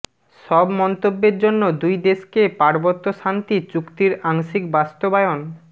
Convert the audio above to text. সব মন্তব্যের জন্য দুই দশকে পার্বত্য শান্তি চুক্তির আংশিক বাস্তবায়ন